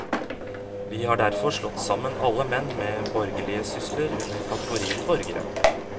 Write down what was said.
Vi har derfor slått sammen alle menn med borgerlige sysler under kategorien borgere.